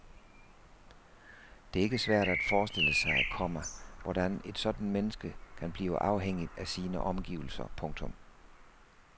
Det er ikke svært at forestille sig, komma hvordan et sådant menneske kan blive afhængigt af sine omgivelser. punktum